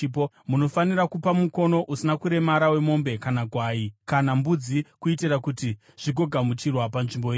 munofanira kupa mukono usina kuremara wemombe, kana gwai, kana mbudzi kuitira kuti zvigogamuchirwa panzvimbo yenyu.